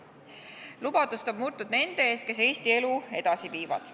Lubadust on murtud nende ees, kes Eesti elu edasi viivad.